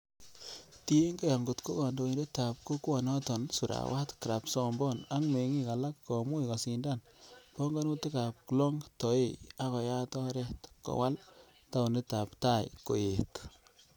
Tienge angot ko kondoindet ab kokwonoton Surawat Krabsomboon ak mengik alak komuch kosindan pongonutik ab Klong Toey, ak koyaat oret kowal taonit ab Thai koyeet.